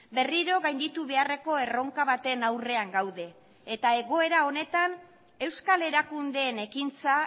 berriro gainditu beharreko erronka baten aurrean gaude eta egoera honetan euskal erakundeen ekintza